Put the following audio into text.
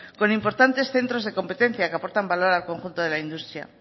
con importantes centros de competencia que aportan valor al conjunto de la industria